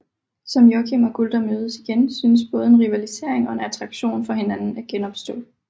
Som Joakim og Gulda mødes igen synes både en rivalisering og en attraktion for hinanden at genopstå